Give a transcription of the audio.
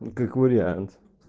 ну как вариант